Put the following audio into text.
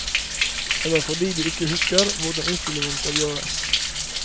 Eller fordi de ikke husker hvordan innstillingene skal gjøres.